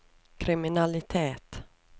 kriminalitet